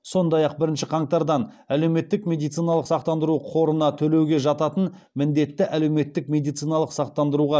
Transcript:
сондай ақ бірінші қаңтардан әлеуметтік медициналық сақтандыру қорына төлеуге жататын міндетті әлеуметтік медициналық сақтандыруға